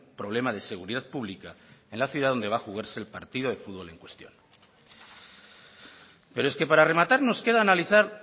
problema de seguridad pública en la ciudad donde va a jugarse el partido de fútbol en cuestión pero es que para rematar nos queda analizar